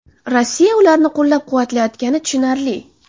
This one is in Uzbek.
Rossiya ularni qo‘llab-quvvatlayotgani tushunarli.